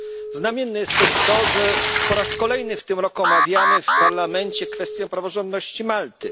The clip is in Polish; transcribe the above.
Znamienne jest też to, że po raz kolejny w tym roku omawiamy tu w Parlamencie kwestię praworządności Malty.